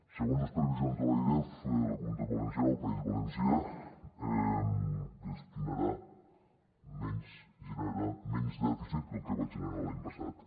segons les previsions de l’airef la comunitat valenciana el país valencià generarà menys dèficit que el que va generar l’any passat